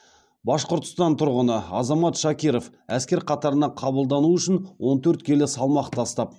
башқұртстан тұрғыны азамат шакиров әскер қатарына қабылдану үшін он төрт келі салмақ тастап